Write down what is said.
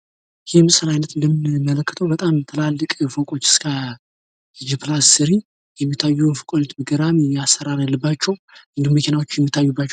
ይህ የምስል አይነት በጣም ትላልቅ ፎቆች እስከ ሶስተኛ ወለል የሚታዩ እና ገራሚ አሰራር የሚታይባቸው እንዲሁም መኪና የሚታይባቸው ምስል ነው።